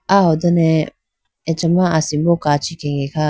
aho done achama asimbo kachi khege kha.